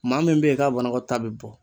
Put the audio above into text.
Maa min be ye k'a banakɔtaa bɛ bɔ